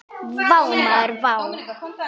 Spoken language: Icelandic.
Vá maður vá!